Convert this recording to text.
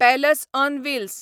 palace on Wills